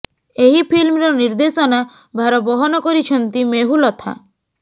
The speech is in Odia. ଏହି ଫିଲ୍ମର ନିର୍ଦ୍ଦେଶନା ଭାର ବହନ କରିଛନ୍ତି ମେହୁଲ ଅଥା